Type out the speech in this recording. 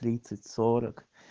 тридцать сорок